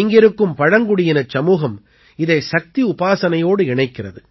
இங்கிருக்கும் பழங்குடியினச் சமூகம் இதை சக்தி உபாசனையோடு இணைக்கிறது